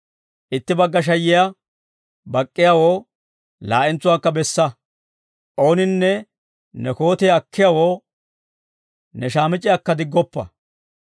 Itti bagga shayiyaa bak'k'iyaawoo, laa'entsuwaakka bessa; ooninne ne kootiyaa akkiyaawoo, ne shaamic'c'iyaakka diggoppa.